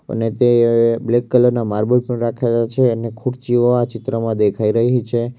અને તે અ બ્લેક કલર ના માર્બલ પણ રાખેલા છે અને ખુરચીઓ આ ચિત્રમાં દેખાઈ રહી છે.